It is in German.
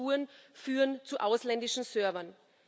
Erste Spuren führen zu ausländischen Servern.